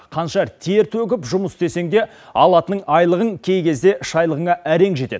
қанша тер төгіп жұмыс істесең де алатының айлығың кей кезде шайлығыңа әрең жетеді